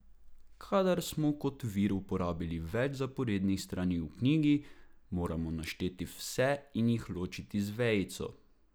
Kadar smo kot vir uporabili več zaporednih strani v knjigi, moramo našteti vse in jih ločiti z vejico.